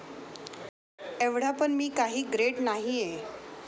एव्हडा पण मी काही ग्रेट नाहिये.